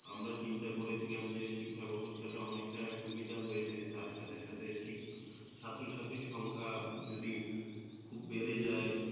আমরা চিন্তা করেছিলাম যে শিক্ষাব্যবস্থাটা অনেকটা সুবিধা হয়েছে তার সাথে সাথে ছাত্রছাত্রীর সংখ্যা যদি খুব বেড়ে যায়